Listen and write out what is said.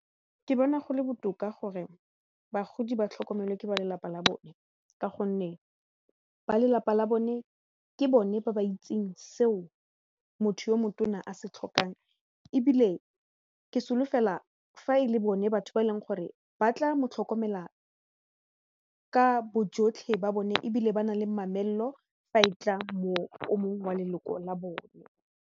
Ke bona gole botoka gore bagodi ba tlhokomelwe ke ba lelapa la bone ka gonne ba lelapa la bone ke bone ba ba itseng seo motho yo motona a se tlhokang ebile ke solofela fa e le bone batho ba e leng gore ba tla mo tlhokomela ka bojotlhe ba bone ebile ba nang le mamello fa e tla mo o mong wa leloko la bone.